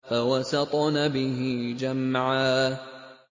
فَوَسَطْنَ بِهِ جَمْعًا